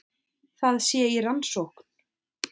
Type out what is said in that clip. Það sé í rannsókn